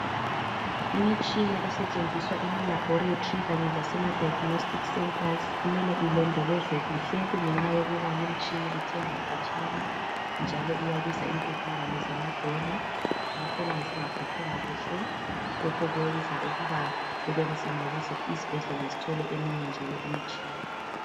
Imitshina esetshenziswa emalabholetri kanye lasema diagnostic centres kumele ilondolozwe kuhle kungenxa yokuba limtshina ithengwa khatshana njalo iyabiza inkulungwane zamadola ngakho nxa zingaphathwanga kuhle lokhu kwenza ukuba kubenzima ukuze isibhedlela sithole eminye njalo imitshina.